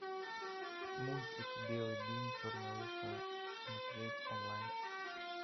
мультик белый бим черное ухо смотреть онлайн